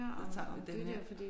Så tager vi den her